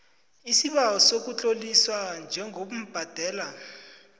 isibawo sokutloliswa njengobhadela